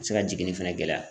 Se ka jiginni fɛnɛ gɛlɛya.